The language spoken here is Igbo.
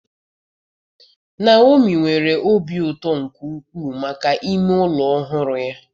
Neomi nwere obi ụtọ nke ukwuu maka ime ụlọ ọhụrụ ya.